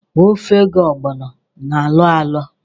Ofe ga-ọgbọno na-alọ alọ